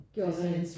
Gjorde rent